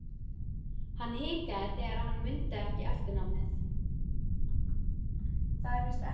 Hann hikaði þegar hann mundi ekki eftirnafnið.